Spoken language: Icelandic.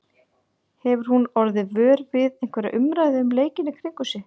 Hefur hún orðið vör við einhverja umræðu um leikinn í kringum sig?